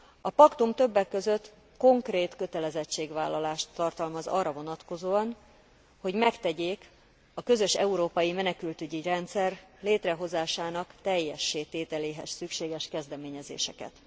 A paktum többek között konkrét kötelezettségvállalást tartalmaz arra vonatkozóan, hogy megtegyék a közös európai menekültügyi rendszer létrehozásának teljessé tételéhez szükséges kezdeményezéseket.